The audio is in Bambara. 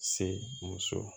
Se muso